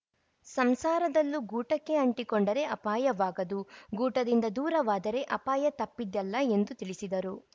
ಸಂಸಾರದಲ್ಲೂ ಗೂಟಕ್ಕೆ ಅಂಟಿಕೊಂಡರೆ ಅಪಾಯವಾಗದು ಗೂಟದಿಂದ ದೂರವಾದರೆ ಅಪಾಯತಪ್ಪಿದ್ದಲ್ಲ ಎಂದು ತಿಳಿಸಿದರು